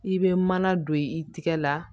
I bɛ mana don i tɛgɛ la